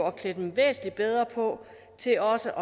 at klæde dem væsentlig bedre på til også